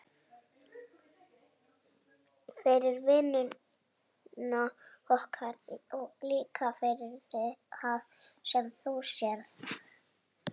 Fyrir vinnuna okkar og líka fyrir það sem þú sérð.